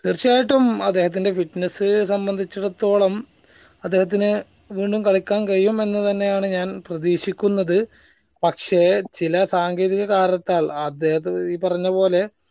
തീർച്ചയായിട്ടും അദ്ദേഹത്തിന്റെ fitness സംബന്ധിച്ചിടത്തോളം അദ്ദേഹത്തിന് വീണ്ടും കളിക്കാൻ കഴിയും എന്ന് തന്നെ ആണ് ഞാൻ പ്രതീക്ഷിക്കുന്നത് പക്ഷെ ചില സങ്കേതിക കാരണത്താൽ അദ്ദേഹത്തെ ഈ പറഞ്ഞ പോലെ